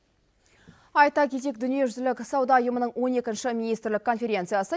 айта кетейік дүниежүзілік сауда ұйымының он екінші министрлік конференциясы